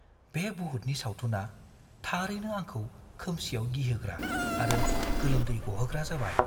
बे बुहुतनि सावथुना थारैनो आंखौ खोमसियाव गिहोग्रा‍ आरो गोलोमदै गहोग्रा जाबाय।